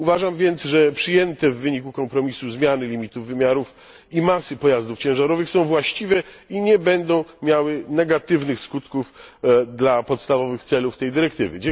Uważam więc, że przyjęte w wyniku kompromisu zmiany limitu wymiarów i masy pojazdów ciężarowych są właściwe i nie będą miały negatywnych skutków dla podstawowych celów tej dyrektywy.